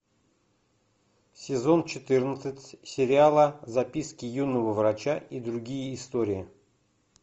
сезон четырнадцать сериала записки юного врача и другие истории